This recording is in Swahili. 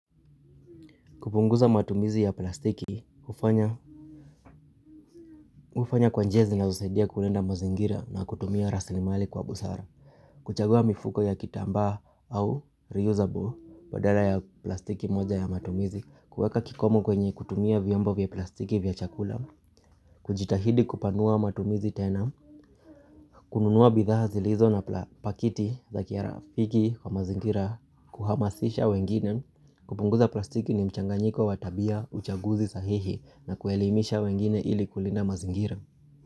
Kupunguza matumizi ya plastiki, hufanya hufanya kwa njia zinazosaidia kulinda mazingira na kutumia raslimali kwa busara. Kuchagua mifuko ya kitambaa au reusable badala ya plastiki moja ya matumizi. Kuweka kikomo kwenye kutumia vyombo vya plastiki vya chakula. Kujitahidi kupanua matumizi tena. Kununua bidhaa zilizo na pakiti za kirafiki kwa mazingira kuhamasisha wengine. Kupunguza plastiki ni mchanganyiko wa tabia, uchaguzi sahihi, na kuelimisha wengine ili kulinda mazingira.